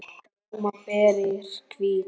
Blóm og ber eru hvít.